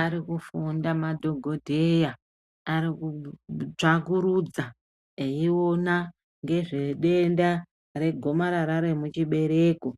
Arikufunda madhokodheya arikutsvakurudza eiona ngezvedenda regomarara remuchibereko